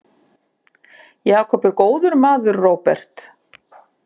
Jakob er góður maður, Róbert.